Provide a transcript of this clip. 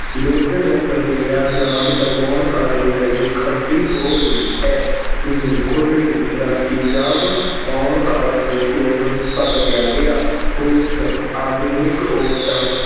ਦੁੱਧ ਨੂੰ ਵਧੇਰਾ ਜਾਗ ਲਗਾਉਣ ਕਾਰਨ ਦਹੀਂ ਖੱਟੀ ਹੋ ਗਈ ਹੈ। ਨੀਂਦ ਖੁੱਲ੍ਹਣੀ- ਰਾਤੀ ਜਾਗ ਆਉਣ ਕਾਰਨ ਚੋਰ ਪਕੜਿਆ ਗਿਆ। ਹੋਸ਼- ਆਧੁਨਿਕ ਔਰਤਾਂ